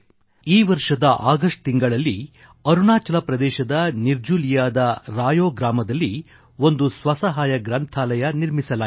ಈ ವರ್ಷದ ಆಗಸ್ಟ್ ತಿಂಗಳಿನಲ್ಲಿ ಅರುಣಾಚಲ ಪ್ರದೇಶದ ನಿರ್ಜುಲಿಯ ರೆಯೋRayo ಗ್ರಾಮದಲ್ಲಿ ಒಂದು ಸ್ವಸಹಾಯ ಗ್ರಂಥಾಲಯ ಸೆಲ್ಫ್ ಹೆಲ್ಪ್ ಲೈಬ್ರರಿ ನಿರ್ಮಿಸಲಾಯಿತು